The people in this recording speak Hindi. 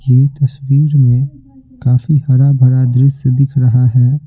यह तस्वीर में काफी हरा भरा दृश्य दिख रहा है।